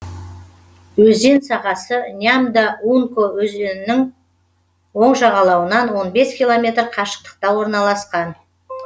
өзен сағасы нямдо унко өзенінің оң жағалауынан он бес километр қашықтықта орналасқан